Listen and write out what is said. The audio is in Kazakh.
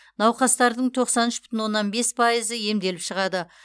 науқастардың тоқсан үш бүтін оннан бес пайызы емделіп шығады